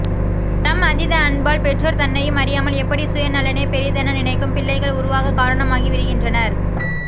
தம் அதீத அன்பால் பெற்றோர் தன்னையும் அறியாமல் எப்படி சுயநலனே பெரிதென நினைக்கும் பிள்ளைகள் உருவாகக் காரணமாகி விடுகின்றனர்